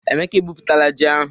Emeka egbupụtara ji ahụ.